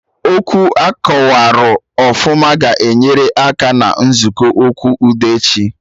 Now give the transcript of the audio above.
Okwu akọwarụ ọfụma ga-enyere aka na nzukọ okwu udo echi